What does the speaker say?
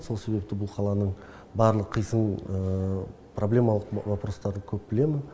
сол себепті бұл қаланың барлық қисының проблемалық вопростарды көп білемін